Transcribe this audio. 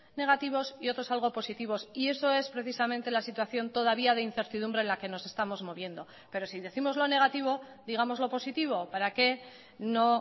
negativos y otros algo positivos y eso es precisamente la situación todavía de incertidumbre en la que nos estamos moviendo pero si décimos lo negativo digamos lo positivo para que no